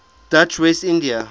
dutch west india